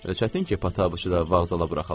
Çətin ki, Pataçı da vağzala buraxalar.